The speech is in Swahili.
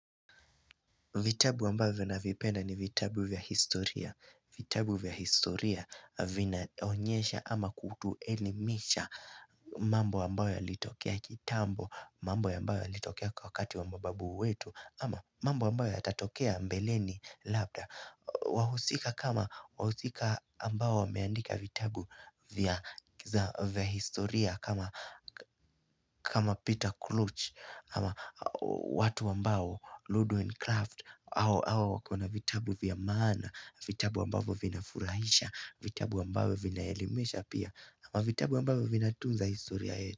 Vitabu ambavyo navipenda ni vitabu vya historia. Vitabu vya historia vinaonyesha ama kutuelimisha mambo ambayo yalitokea kitambo, mambo ambayo yalitokea kwa wakati wa mababu wetu ama mambo ambayo yatatokea mbeleni labda. Wahusika kama wahusika ambao wameandika vitabu vya historia kama kama Peter Clutch kama watu ambao Ludwin Craft ao wako na vitabu vya maana vitabu ambavyo vinafurahisha vitabu ambavyo vinaelimesha pia ama vitabu ambavyo vinatunza historia yetu.